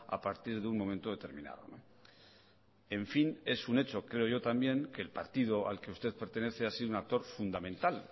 a partir de un momento determinado en fin es un hecho creo yo también que el partido al que usted pertenece ha sido un actor fundamental